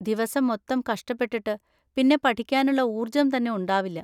ദിവസം മൊത്തം കഷ്ടപ്പെട്ടിട്ട് പിന്നെ പഠിക്കാനുള്ള ഊർജം തന്നെ ഉണ്ടാവില്ല.